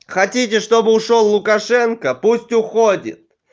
хотите чтобы ушёл лукашенко пусть уходит